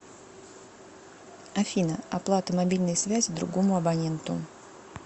афина оплата мобильной связи другому абоненту